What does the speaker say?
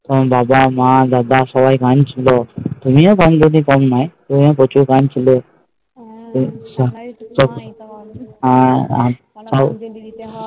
বাবা মা দাদা সবাই কাঁদছিলো তুমিও কম নাই ওরা প্রচুর কাঁদছিলো